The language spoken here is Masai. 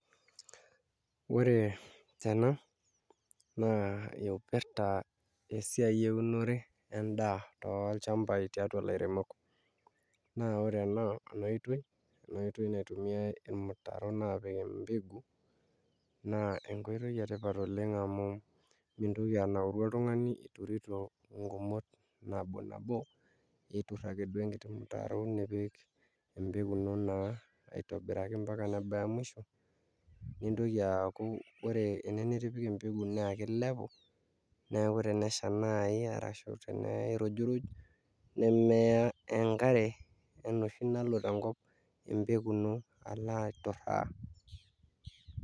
Ore tena naa ipirta esiai eunore endaa tolchambai tesiai olairemok naa ore ena oitoi naitumiai irmuraon aapik embegu naa enkoitoi sidai amu mintoki anauru oltung'ani iturito nkumot nabo nabo aiturr akeduo enkiti mutaro nipik empeku ino naa aitobiraki mpaka nebaya musho nitoki aaku ore ene nitipika empeku naa kilepu neeku tenesha naai ashu tenirujuruj nemeya enkare enoshi nalo tenkop empeku ino alo aiturraa.